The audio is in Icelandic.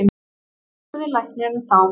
spurði læknirinn þá.